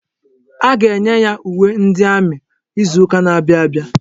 A ga-enye ya uwe ndi amị izuka na-abịa abịa.